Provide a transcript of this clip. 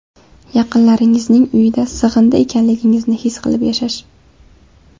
Yaqinlaringizning uyida sig‘indi ekanligingizni his qilib yashash.